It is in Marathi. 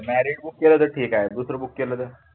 marriot book केला तर ठीक आहे दुसर book केलं तर?